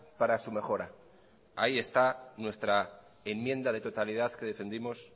para su mejora ahí está nuestra enmienda de totalidad que defendimos